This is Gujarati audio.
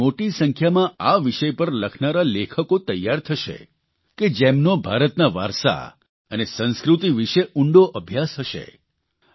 દેશમાં મોટી સંખ્યામાં આ વિષય પર લખનારા લેખકો તૈયાર થશે કે જેમનો ભારતના વારસા અને સંસ્કૃતિ વિષે ઉંડો અભ્યાસ હશે